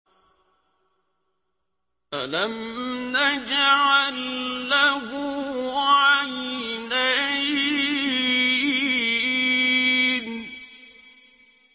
أَلَمْ نَجْعَل لَّهُ عَيْنَيْنِ